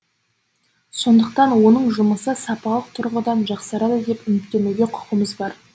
сондықтан оның жұмысы сапалық тұрғыдан жақсарады деп үміттенуге құқымыз бар